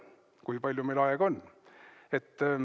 Kui palju meil aega on?